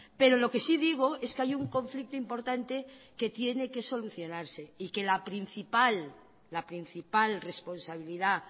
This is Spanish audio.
pero lo que sí digo es que hay un conflicto importante que tiene que solucionarse y que la principal la principal responsabilidad